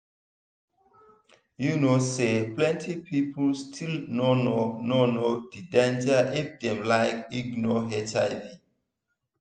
you know say plenty people still no know no know the danger if dem like ignore hiv.